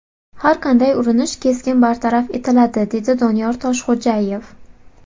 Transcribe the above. Har qanday urinish keskin bartaraf etiladi”, dedi Doniyor Toshxo‘jayev.